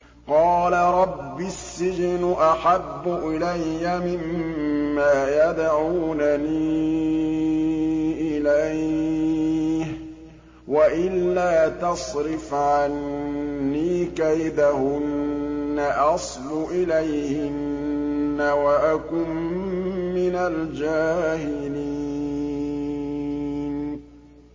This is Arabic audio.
قَالَ رَبِّ السِّجْنُ أَحَبُّ إِلَيَّ مِمَّا يَدْعُونَنِي إِلَيْهِ ۖ وَإِلَّا تَصْرِفْ عَنِّي كَيْدَهُنَّ أَصْبُ إِلَيْهِنَّ وَأَكُن مِّنَ الْجَاهِلِينَ